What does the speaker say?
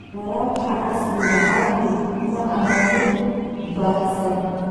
Waraabka casriga ahi maaha mid baahsan.